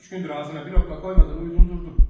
Üç gündür ağzına bir lokma qoymadan uyudun durdun.